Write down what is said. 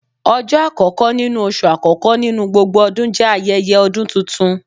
Ọjọ akọkọ nínú oṣú akọkọ nínú gbógbó ọdún jẹ ayẹyẹ ọdún túntún